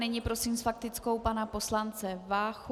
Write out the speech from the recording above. Nyní prosím s faktickou pana poslance Váchu.